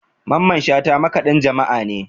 Mamman shata makaɗin jama'a ne